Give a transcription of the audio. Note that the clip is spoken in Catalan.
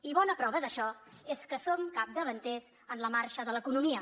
i bona prova d’això és que som capdavanters en la marxa de l’economia